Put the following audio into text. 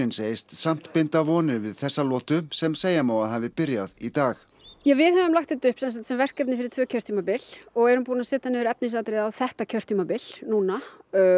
segist samt binda vonir við þessa lotu sem segja má að hafi byrjað í dag við höfum lagt þetta upp sem verkefni fyrir tvö kjörtímabil og erum búin að setja niður efnisatriði á þetta kjörtímabil núna